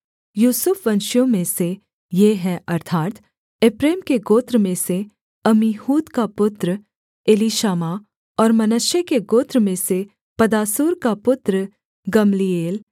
यूसुफ वंशियों में से ये हैं अर्थात् एप्रैम के गोत्र में से अम्मीहूद का पुत्र एलीशामा और मनश्शे के गोत्र में से पदासूर का पुत्र गम्लीएल